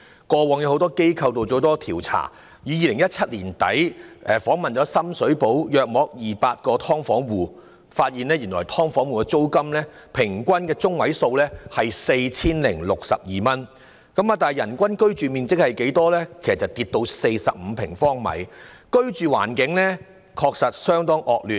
過往很多機構曾進行多項調查，有機構在2017年年底訪問約200個深水埗"劏房戶"，發現"劏房戶"的租金中位數是 4,062 元，但人均居住面積卻減少至45平方呎，居住環境確實相當惡劣。